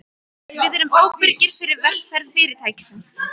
Við erum ábyrgir fyrir velferð Fyrirtækisins.